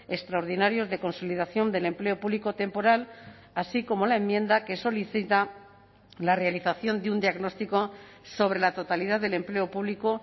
extraordinarios de consolidación del empleo público temporal así como la enmienda que solicita la realización de un diagnóstico sobre la totalidad del empleo público